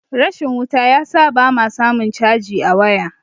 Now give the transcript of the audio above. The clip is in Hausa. rashin wuta ya sa ba ma samun caji a waya